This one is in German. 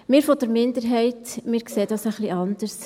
Wir von der Minderheit, wir sehen das ein wenig anders.